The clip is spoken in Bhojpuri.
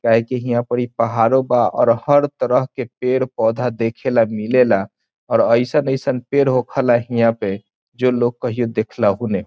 काहे की ईहां पर ई पहाड़ों बा और हर तरह के पेड़-पौधा देखेला मिलेला और अईसन-अईसन पेड़ होखेला ईहा पर जो लोग कहईयो पर देखलाउ नहीं।